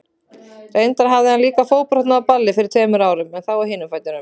Reyndar hafði hann líka fótbrotnað á balli fyrir tveimur árum, en þá á hinum fætinum.